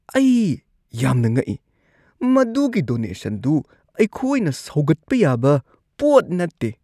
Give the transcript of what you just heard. ꯑꯩ ꯌꯥꯝꯅ ꯉꯛꯢ! ꯃꯗꯨꯒꯤ ꯗꯣꯅꯦꯁꯟꯗꯨ ꯑꯗꯨ ꯑꯩꯈꯣꯏꯅ ꯁꯧꯒꯠꯄ ꯌꯥꯕ ꯄꯣꯠ ꯅꯠꯇꯦ꯫